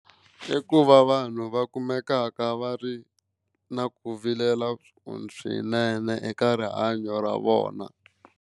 I ku va vanhu va kumekaka va ri na ku vilela swinene eka rihanyo ra vona.